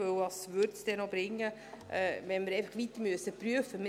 Denn was würde es noch bringen, wenn wir noch weiter prüfen müssten?